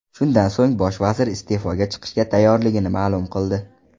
Shundan so‘ng bosh vazir iste’foga chiqishga tayyorligini ma’lum qildi .